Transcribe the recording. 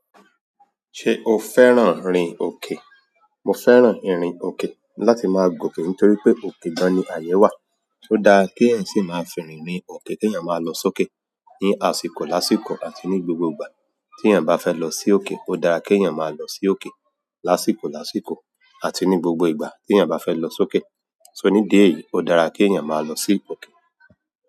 Ṣé o fẹ́ràn ìrìn òkè? Mo fẹ́ràn ìrìn òkè láti máa gòkè nítorí pé òkè gan ní àyè wà. Ó dáa keeyan sì máa firìn ni òkè teyan máa lọ sókè ní àsìkò lásìkò àti ní gbogbo ìgbà tiyàn bá fẹ́ lọ sí òkè. Ó dára keèyàn máa lọ sí òkè lásìkò lásìkò àti ní gbogbo ìgbà tèèyàn bá fẹ́ lọ sókè. So nídi eyìí, ó dára kèèyàn máa lọ sí òkè.